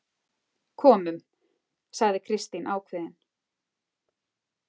Komum, sagði Kristín ákveðin.